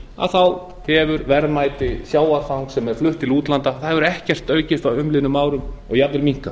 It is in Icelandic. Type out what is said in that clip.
að auki hefur verðmæti sjávarfangs sem er flutt til útlanda ekkert aukist á umliðnum árum og jafnvel minnkað